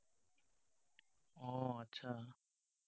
অ, আচ্ছা।